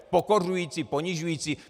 Pokořující, ponižující.